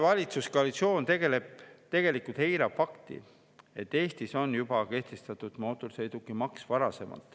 Valitsuskoalitsioon tegelikult eirab fakti, et Eestis on juba varasemalt kehtestatud mootorsõidukimaks.